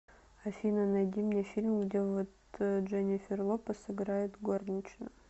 афина найди мне фильм где вот дженнифер лопес играет горничную